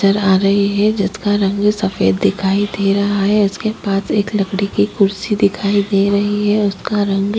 नज़र आ रही है जिसका रंग भी सफेद दिखाई दे रहा है इसके पास एक लकड़ी की कुर्सी दिखाई दे रही है उसका रंग--